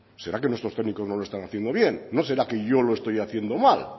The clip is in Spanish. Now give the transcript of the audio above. será que nuestros técnicos no lo están haciendo bien no será que yo lo estoy haciendo mal